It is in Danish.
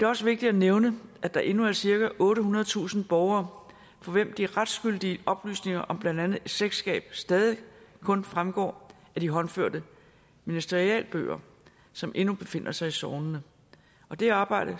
også vigtigt at nævne at der endnu er cirka ottehundredetusind borgere for hvem de retsgyldige oplysninger om blandt andet slægtskab stadig kun fremgår af de håndførte ministerialbøger som endnu befinder sig i sognene og det arbejde